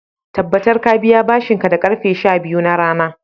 tabbatar ka biya bashin ka da karfe sha biyu na rana